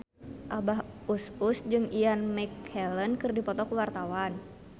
Abah Us Us jeung Ian McKellen keur dipoto ku wartawan